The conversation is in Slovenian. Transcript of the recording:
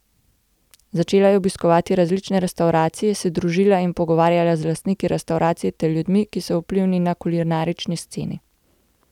Začela je obiskovati različne restavracije, se družila in pogovarjala z lastniki restavracij ter ljudmi, ki so vplivni na kulinarični sceni.